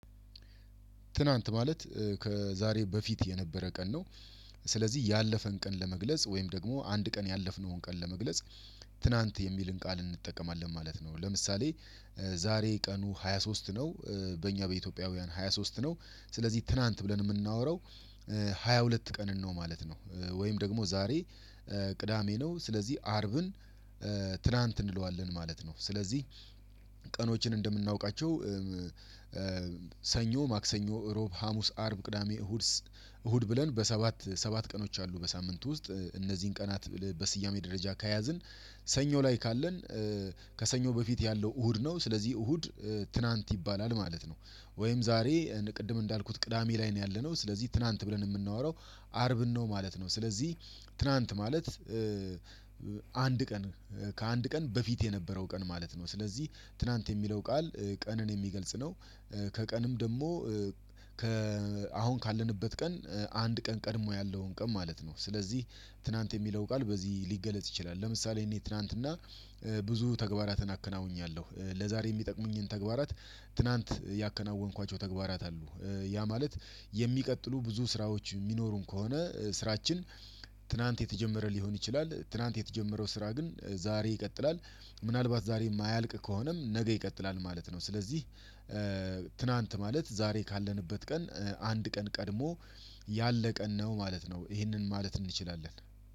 ትናንት ማለት ከዛሬ በፊት የነበረ ቀን ነው። ስለዚህ ያለፈን ቀን ለመግለጽ ወይም ደግሞ አንድ ቀን ያለፍነውን ቀን ለመግለጽ ትናንት የሚልን ቃል እንጠቀማለን ማለት ነው። ለምሳሌ ዛሬ ቀኑ 23 ነው። በእኛ በኢትዮጵያውያን 23 ነው ስለዚህ ትናንት ብለን የምናወራው 22 ሁለት ቀንን ነው ማለት ነው። ወይም ደግሞ ዛሬ ቅዳሜ ነው ስለዚህ አርብን ትላንት እንለዋለን ማለት ነው። ስለዚህ ቀኖችን እንደምናውቃቸው ሰኞ ማክሰኞ እሮብ ሀሙስ አርብ ቅዳሜ እሁድ ብለን በሰባት ሰባት ቀኖች አሉ። በሳምንቱ ውስጥ እነዚህን ቀናት በስያሜ ደረጃ ከያዝን ሰኞ ላይ ካለን ከሰኞ በፊት ያለው እሁድ ነው ስለዚህ እሁድ ትናንት ይባላል። ማለት ነው ወይም ዛሬ ቅድም እንዳልኩት ቅዳሜ ላይ ነው ያለነው ስለዚህ ትናንት ብለን የምናወራው አርብን ነው ማለት ነው። ስለዚህ ትናንት ማለት አንድ ቀን ከአንድ ቀን በፊት የነበረው ቀን ማለት ነው። ስለዚህ ትላንት የሚለው ቃል ቀንን የሚገልጽ ነው። ከቀንም ደግሞ ከአሁን ካለንበት ቀን አንድ ቀን ቀድሞ ያለውን ቀን ማለት ነው። ስለዚህ ትናንት የሚለው ቃል በዚህ ሊገለጽ ይችላል። ለምሳሌ እኔ ትላንትና ብዙ ተግባራትን አከናውኛለሁ ለዛሬ የሚጠቅሙኝን ተግባራት ትናንት ያከናወንኳቸው ተግባራት አሉ። ያ ማለት የሚቀጥሉ ብዙ ስራዎች የሚኖሩን ከሆነ ስራችን ትናንት የተጀመረ ሊሆን ይችላል። ትናንት የተጀመረው ስራ ግን ዛሬ ይቀጥላል። ምናልባት ዛሬ የማያልቅ ከሆነም ነገ ይቀጥላል ማለት ነው። ስለዚህ ትናንት ማለት ዛሬ ካለንበት ቀን አንድ ቀን ቀድሞ ያለቀን ነው ማለት ነው። ይሄንን ማለት እንችላለን።